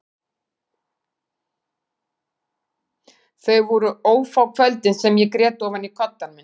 Þau voru ófá kvöldin sem ég grét ofan í koddann minn.